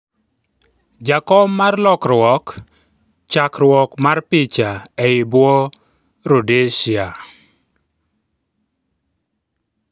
jakom mar lokruok, chakruok mar picha ,ei bwo Rhodesia